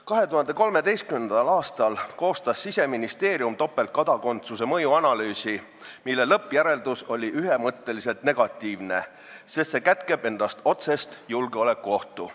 2013. aastal koostas Siseministeerium mõjuanalüüsi topeltkodakondsuse kohta, mille lõppjäreldus oli ühemõtteliselt negatiivne, sest see kätkeb endas otsest julgeolekuohtu.